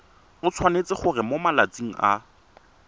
tshwanetse gore mo malatsing a